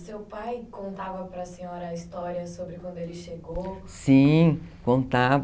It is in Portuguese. seu pai contava para a senhora a história sobre quando ele chegou?